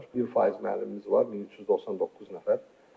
1 faiz müəllimimiz var, 1399 nəfər.